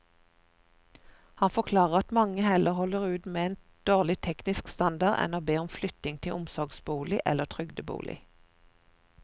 Han forklarer at mange heller holder ut med en dårlig teknisk standard enn å be om flytting til omsorgsbolig eller trygdebolig.